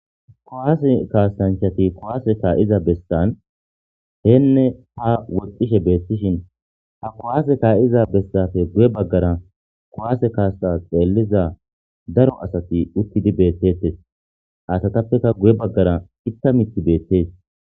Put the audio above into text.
kowaase kaasanchati kowaase kaa7iza bessan heenne ha woxxishe beettishin ha kowaase kaa7iza bessafe guye baggara kowaase kaasta xeelliza daro asati uttidi beettettes asatappeka guye baggara itta miti beettees